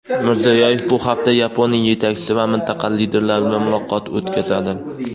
Mirziyoyev bu hafta Yaponiya yetakchisi va mintaqa liderlari bilan muloqot o‘tkazadi.